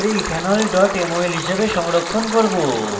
ethene mol হিসাবে সংরক্ষণ করব